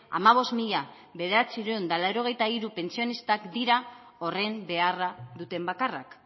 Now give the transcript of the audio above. hamabost mila bederatziehun eta laurogeita hiru pentsionistak dira horren beharra duten bakarrak